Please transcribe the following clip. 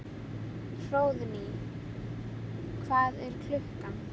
Hróðný, hvað er klukkan?